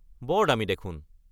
বৰ দামী দেখোন।